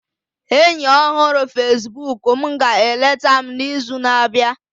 enyi ọhụrụ Facebook m ga-eleta m n'izu na-abịa